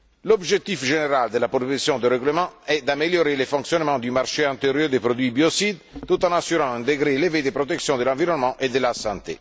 L'objectif général de la proposition de règlement est d'améliorer le fonctionnement du marché intérieur des produits biocides, tout en assurant un degré élevé de protection de l'environnement et de la santé.